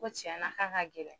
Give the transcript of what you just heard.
Ko tiɲɛ na k'a ka gɛlɛn.